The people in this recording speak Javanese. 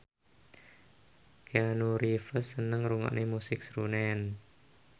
Keanu Reeves seneng ngrungokne musik srunen